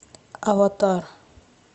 аватар